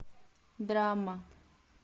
драма